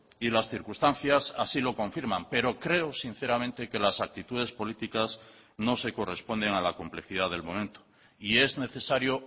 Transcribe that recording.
y las circunstancias así lo confirman pero creo sinceramente que las actitudes políticas no se corresponden a la complejidad del momento y es necesario